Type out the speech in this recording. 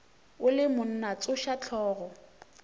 o le monna tsoša hlogo